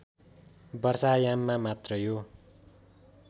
वर्षायाममा मात्र यो